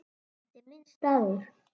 Þetta er minn staður.